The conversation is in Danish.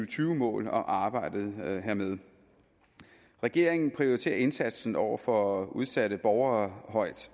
tyve mål og arbejdet hermed regeringen prioriterer indsatsen over for udsatte borgere højt